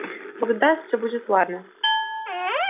бог даст всё будет ладно